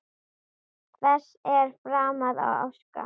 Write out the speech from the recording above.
Hvers er framar að óska?